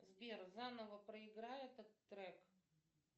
сбер заново проиграй этот трек